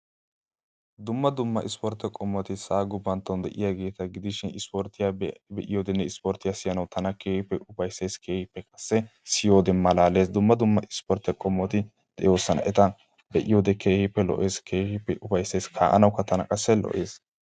dumma dumma sportte qommoti sa"a gufanton de'iyaageeta gidishin isporttiyaa be'iyoodenne siyanaw tana keehippe ufaysees. keehippe qaasi siyoode malaalees. dumma dumma isportiyaa qommoti de'oosona. eta be'iyoode keehippe lo"ees. keeippe ufaysees. ka'anawukka tana ufaysees.